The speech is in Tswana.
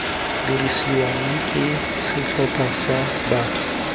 dirisiwang ke setlhopha sa batho